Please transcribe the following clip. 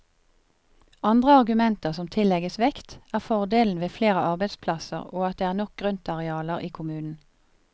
Andre argumenter som tillegges vekt, er fordelen ved flere arbeidsplasser og at det er nok grøntarealer i kommunen.